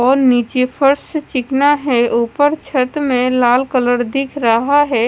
और नीचे फर्श चिकना है ऊपर छत में लाल कलर दिख रहा है।